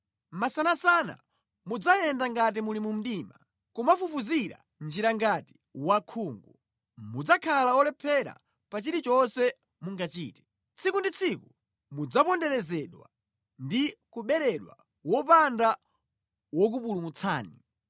Masanasana mudzayenda ngati muli mu mdima, kumafufuzira njira ngati wosaona. Mudzakhala olephera pa chilichonse mungachite. Tsiku ndi tsiku mudzaponderezedwa ndi kuberedwa wopanda wokupulumutsani.